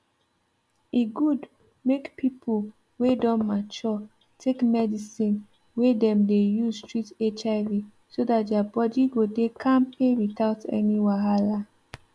e good make people wey don mature take medicine wey dem dey use treat hiv so that their body go dey kampe without any wahala